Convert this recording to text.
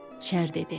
Şər dedi: